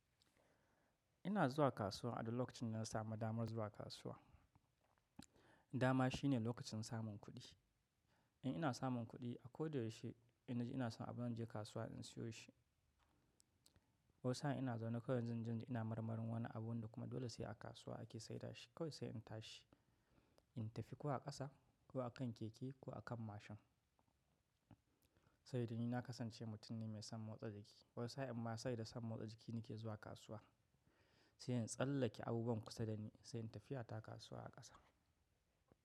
Ina zuwa kasuwa a da lokacin na samu damar zuwa kasuwa. Dama shine lokacin samun kuɗi. In ina samun kuɗi, a ko da yaushe ina ji ina son abu zan je kasuwa in siyo shi. Wasu sa'in ina zaune kawai zan ji ina marmarin wani abu kuma dole sai a kasuwa ake saida shi kawai sai in tashi. In tafi ko a ƙasa ko a kan keke ko a kan mashin. Sai da ni na kasance mutum ne mai son motsa jiki wasu sa'in amma sabida son motsa jiki nake zuwa kasuwa. Sai in tsallake abubuwan kusa da ni sai in tafiya ta kasuwa a ƙasa.